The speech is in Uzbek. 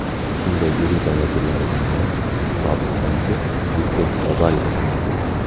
Shunday elita vakillaridan biri sobiq bankir Viktor Babariko sanaladi.